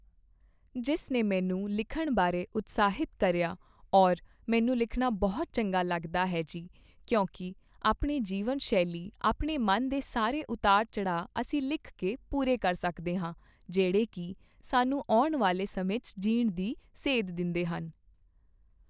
ਜਿਸ ਨੇ ਮੈਨੂੰ ਲਿਖਣ ਬਾਰੇ ਉਤਸ਼ਾਹਿਤ ਕਰਿਆ ਔਰ ਮੈਨੂੰ ਲਿਖਣਾ ਬਹੁਤ ਚੰਗਾ ਲੱਗਦਾ ਹੈ ਜੀ ਕਿਉਂਕਿ ਆਪਣੇ ਜੀਵਨ ਸ਼ੈਲੀ ਆਪਣੇ ਮਨ ਦੇ ਸਾਰੇ ਉਤਾਰ ਚੜ੍ਹਾਅ ਅਸੀਂ ਲਿਖ ਕੇ ਪੂਰੇ ਕਰ ਸਕਦੇ ਹਾਂ ਜਿਹੜੇ ਕੀ ਸਾਨੂੰ ਆਉਣ ਵਾਲੇ ਸਮੇਂ 'ਚ ਜੀਣ ਦੀ ਸੇਧ ਦਿੰਦੇਹਨ